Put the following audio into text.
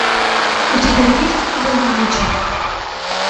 у тебя есть убойный вечер